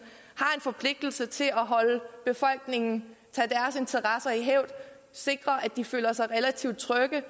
en forpligtelse til at holde befolkningens interesser i hævd sikre at de føler sig relativt trygge